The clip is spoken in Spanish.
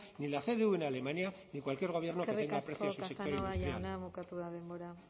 ni la cdu en alemania ni cualquier gobierno que tenga aprecio a su sector industrial eskerrik asko casanova jauna bukatu da denbora